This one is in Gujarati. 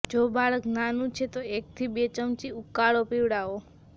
જો બાળક નાનું છે તો એકથી બે ચમચી ઉકાળો પીવડાવો